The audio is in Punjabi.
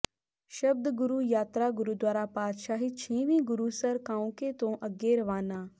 ਸ਼ਬਦ ਗੁਰੂ ਯਾਤਰਾ ਗੁਰਦੁਆਰਾ ਪਾਤਸ਼ਾਹੀ ਛੇਵੀਂ ਗੁਰੂਸਰ ਕਾਉਂਕੇ ਤੋਂ ਅੱਗੇ ਰਵਾਨਾ